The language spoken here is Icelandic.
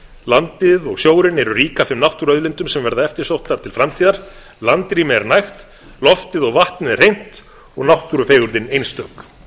landið og sjórinn eru rík af þeim náttúruauðlindum sem verða eftirsóttastar til framtíðar landrými er nægt loftið og vatnið er hreint og náttúrufegurðin einstök